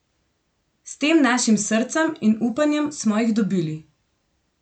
S tem našim srcem in upanjem smo jih dobili.